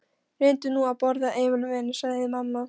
Reyndu nú að borða, Emil minn, sagði mamma.